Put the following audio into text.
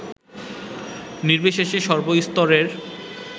নির্বিশেষে সর্বস্তরের